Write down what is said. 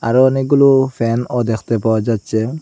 আরও অনেকগুলো ফ্যানও দেখতে পাওয়া যাচ্ছে।